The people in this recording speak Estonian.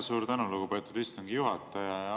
Suur tänu, lugupeetud istungi juhataja!